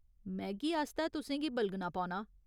Maggi आस्तै तुसेंगी बलगना पौना ।